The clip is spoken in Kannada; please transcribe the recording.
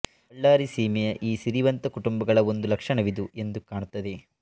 ಬಳ್ಳಾರಿ ಸೀಮೆಯ ಈ ಸಿರಿವಂತ ಕುಟುಂಬಗಳ ಒಂದು ಲಕ್ಷಣವಿದು ಎಂದು ಕಾಣುತ್ತದೆ